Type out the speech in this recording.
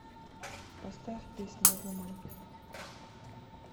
поставь песня вуман